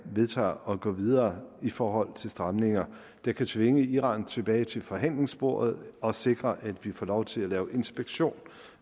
vedtager at gå videre i forhold til stramninger der kan tvinge iran tilbage til forhandlingsbordet og sikre at vi får lov til at lave inspektion